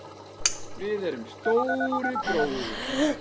Við erum Stóri bróðir!